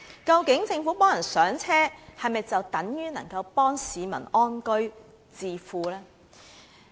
究竟政府幫助市民"上車"，是否等於能夠幫助市民安居置富呢？